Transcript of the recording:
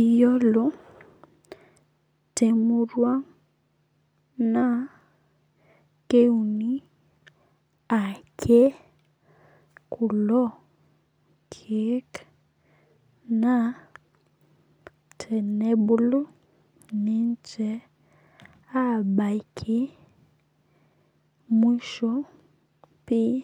Iyiolo temurua naa keuni ake kulo keek naa tenebulu ninche abaiki mwisho pii